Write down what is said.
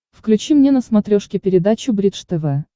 включи мне на смотрешке передачу бридж тв